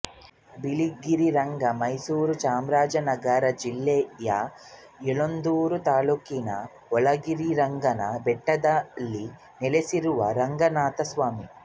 ಬಿಳಿಗಿರಿರಂಗ ಮೈಸೂರು ಚಾಮರಾಜನಗರ ಜಿಲ್ಲೆಯ ಯಳಂದೂರು ತಾಲ್ಲೂಕಿನ ಬಿಳಿಗಿರಿರಂಗನ ಬೆಟ್ಟದಲ್ಲಿ ನೆಲಸಿರುವ ರಂಗನಾಥಸ್ವಾಮಿ